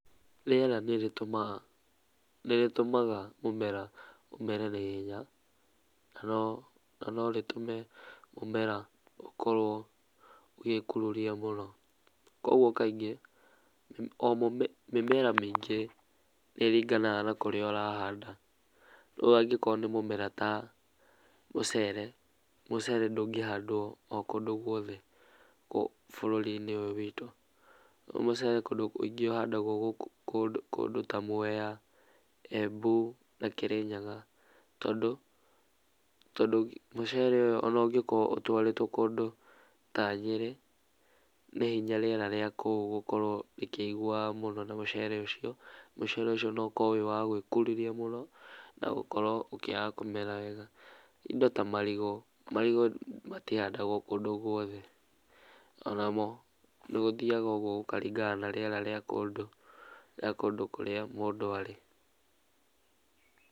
Rĩera nĩrĩtũmaga, nĩrĩtũmaga mũmera ũmere na ihenya na no rĩtũme mũmera ũkorwo ũgĩkururia mũno, koguo kaingĩ mĩmera mĩingĩ nĩĩringanaga na kũrĩa ũrahanda, rĩu angĩkorwo nĩ mũmera ta mũcere, mũcere ndũngĩhandwo o kũndũ guothe bũrũri-inĩ ũyũ witũ, mũcere kũndũ kũingĩ ũhandagwo kũndũ ta Mwea, Embu na Kĩrĩnyaga, tondũ tondũ mũcere ũyũ ũngĩkorwo ũtwarĩtwo kũndũ ta Nyĩrĩ nĩ hinya rĩera rĩa kũu gũkorwo rĩkĩigũana na mũcere ũcio, mũcere ũcio no ũkorwo ũrĩ wa gwĩkururia mũno na ũkorwo ũkĩaga kũmera wega. Indo ta marigũ, marigũ matihandagwo kũndũ guothe onamo nĩgũthiaga ũguo gũkaringana na rĩera rĩa kũndũ, rĩa kũndũ kũrĩa mũndũ arĩ.